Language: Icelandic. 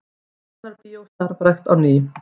Tjarnarbíó starfrækt á ný